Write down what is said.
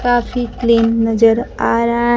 काफ़ी क्लीन नज़र आ रहा--